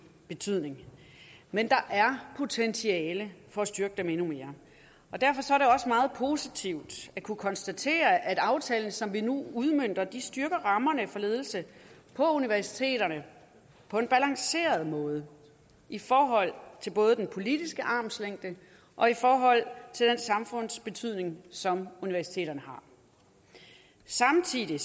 betydning men der er potentiale for at styrke dem endnu mere og derfor er det meget positivt at kunne konstatere at aftalen som vi nu udmønter styrker rammerne for ledelse på universiteterne på en balanceret måde i forhold til både den politiske armslængde og i forhold til den samfundsbetydning som universiteterne har samtidig